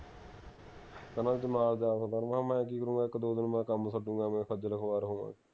ਕਹਿੰਦਾ ਤੂੰ ਨਾਲ ਜਾ ਸਕਦਾ ਮੈਂ ਕਿਹਾ ਯਾਰ ਮੈਂ ਕਿ ਕਰੂੰਗਾ ਇਕ ਦੋ ਦਿਨ ਮੈਂ ਕੰਮ ਛਡੂੰਗਾ ਐਂਵੇਂ ਖੱਜਲ ਖਵਾਰ ਹੋਵਾਂਗੇ ਐਂਵੇ